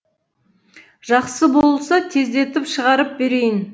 жақсы болса тездетіп шығарып берейін